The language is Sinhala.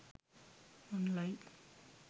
online